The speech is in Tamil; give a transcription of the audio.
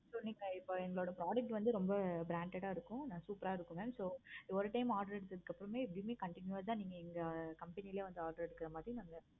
so நீங்க இப்போ எங்களோட models வந்து ரொம்ப branded ஆஹ் இருக்கும். super ஆஹ் இருக்கு mam so ஒரு time order எடுத்ததும் அப்பறமே to be continue ஆஹ் வே எங்க company ல order எடுக்குற மாதிரி நாங்க வந்து